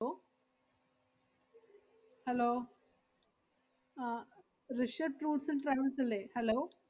~Law hello ആഹ് Rishabh fruits and അല്ലേ? hello